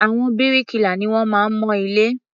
Àwọn bíríkìlà ni wọ́n máa ń mọ ilé.